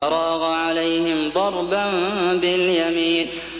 فَرَاغَ عَلَيْهِمْ ضَرْبًا بِالْيَمِينِ